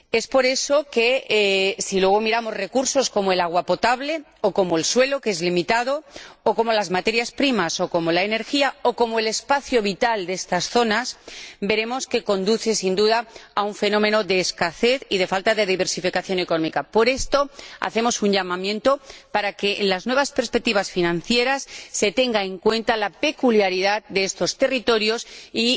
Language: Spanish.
Por eso, si luego nos fijamos en los recursos, como el agua potable o como el suelo, que es limitado, o como las materias primas o como la energía o como el espacio vital de estas zonas, veremos que conducen sin duda a un fenómeno de escasez y de falta de diversificación económica. Por esto, hacemos un llamamiento para que en las nuevas perspectivas financieras se tenga en cuenta la peculiaridad de estos territorios